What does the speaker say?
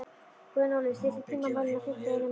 Gunnóli, stilltu tímamælinn á fimmtíu og eina mínútur.